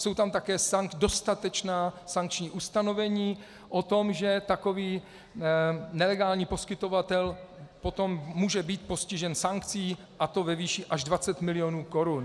Jsou tam také dostatečná sankční ustanovení o tom, že takový nelegální poskytovatel potom může být postižen sankcí, a to ve výši až 20 mil. korun.